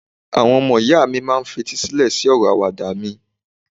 àwọn ọmọ ìyá mi ma n fetí sílẹ sí ọrọ Àwàdà mi